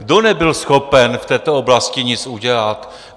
Kdo nebyl schopen v této oblasti nic udělat?